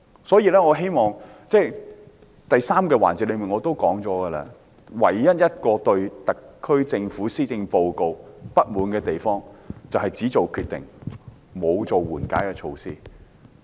所以，我在第三個辯論環節也說過，我對特區政府施政報告唯一不滿的地方，便是只作決定，沒有推出緩解措施。